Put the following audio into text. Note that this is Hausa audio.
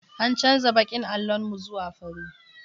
An canza baƙin allon mu zuwa fari.